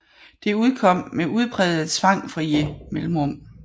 Det udkom med udprægede tvangfrie mellemrum